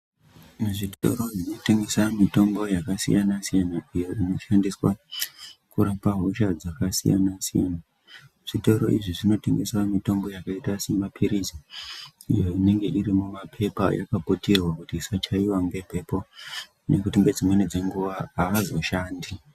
Muzvitoro zvinotengesa mutombo yakasiyana-siyana peya, inoshandiswa kurapa hosha dzakasiyana-siyana. Zvitoro izvi zvinotengesa mitombo yakaita semaphirizi iyo inonge iri mumapepa yakaputirwa kuti isachaiva ngemhepo ngekuti ngedzimweni dzenguva haazoshandi.